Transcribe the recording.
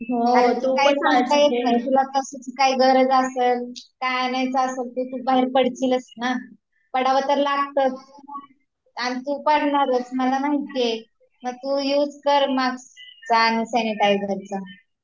काही सांगता येत नाही तुला कश्याची गरज असेल काही आणायचं असेल तर बाहेर पडशीलच ना पडावं तर लागतच आणि तु पडणारच मला माहितीये तर तु हे युज कर मास्क चा आणि सॅनिटायझरचा